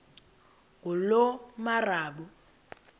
ngulomarabu